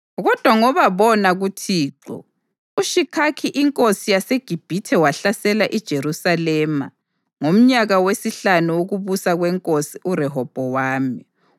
Kodwa ngoba bona kuThixo, uShishakhi inkosi yaseGibhithe wahlasela iJerusalema ngomnyaka wesihlanu wokubusa kwenkosi uRehobhowami.